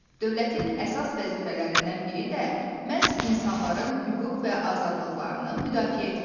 Dövlətin əsas vəzifələrindən biri də məhz insanların hüquq və azadlıqlarını müdafiə etməkdir.